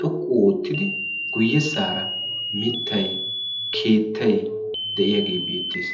xoqqu oottidi guyyessaara mittay keettay de'iyaagee beettees